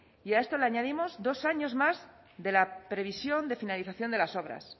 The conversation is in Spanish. y a esto le añadimos dos años más de la previsión de finalización de las obras